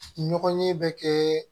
Ɲɔgɔn ye bɛ kɛ